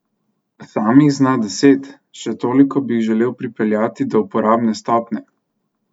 Sam jih zna deset, še toliko bi jih želel pripeljati do uporabne stopnje.